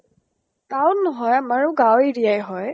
town নহয়, আমাৰো গাওঁ area হয়